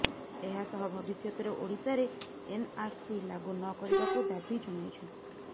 ଏହା ସହ ଭବିଷ୍ୟତରେ ଓଡିଶାରେ ଏନଆରସି ଲାଗୁ ନ କରିବାକୁ ଦାବି ଜଣାଇଛନ୍ତି